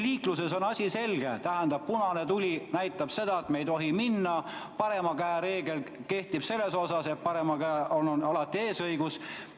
Liikluses on asi selge: punane tuli näitab seda, et me ei tohi edasi minna, parema käe reegel ütleb, et paremal käel liiklejal on alati eesõigus.